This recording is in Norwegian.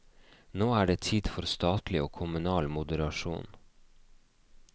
Nå er det tid for statlig og kommunal moderasjon.